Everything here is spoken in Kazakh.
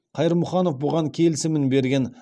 қайырмұханов бұған келісімін берген